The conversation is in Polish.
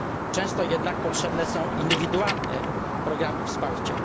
Często jednak potrzebne są indywidualne programy wsparcia.